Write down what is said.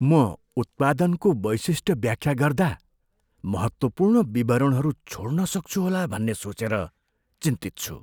म उत्पादनको वैशिष्ट्य व्याख्या गर्दा महत्त्वपूर्ण विवरणहरू छोड्न सक्छु होला भन्ने सोचेर चिन्तित छु।